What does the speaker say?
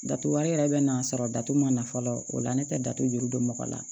Datugu wari yɛrɛ bɛ na sɔrɔ datu ma na fɔlɔ o la ne tɛ datu juru don mɔgɔ la